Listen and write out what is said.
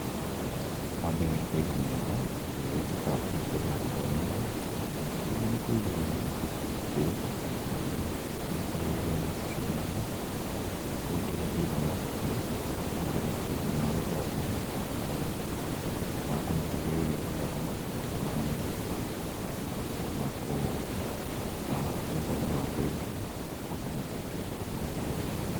Wambere nĩkũiga metha ĩrĩa ĩrĩtuĩkaga kũrutĩrwo gũthomerwo. Rĩngĩ nĩkũiga gĩtĩ kĩrĩa gĩikaragĩrwo nĩciana. ũcio ũngĩ nĩkũiga mabuku magwĩka, magũthoma makũmateithĩrĩria gũthoma na tũramu na ũtheri wa kũigana wakũmateithĩrĩrĩa kũhota gũgĩthoma.